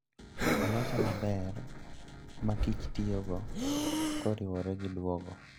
Olose maber ma kich tiyogo koriwore gi duogo.